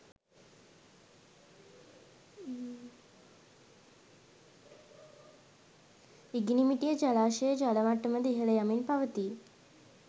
ඉගිනිමිටිය ජලාශයේ ජල මට්ටමද ඉහළ යමින් පවතී